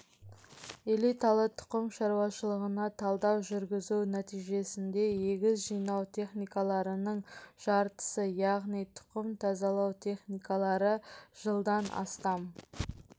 элиталы тұқым шаруашылығына талдау жүргізу нәтижесінде егіс жинау техникаларының жартысы яғни тұқым тазалау техникалары жылдан астам